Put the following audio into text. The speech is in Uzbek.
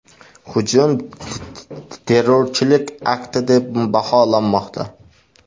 Hujum terrorchilik akti deb baholanmoqda.